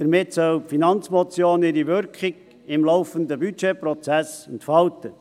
Damit soll die Finanzmotion ihre Wirkung im laufenden Budgetprozess entfalten.